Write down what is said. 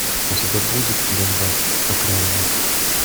у тебя будет донбасс окраина